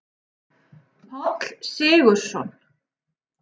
Páll Sigurðsson.